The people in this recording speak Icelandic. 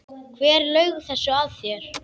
Hver laug þessu að þér?